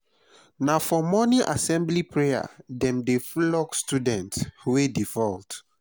na for morning assembly prayer dem dey flog students wey default.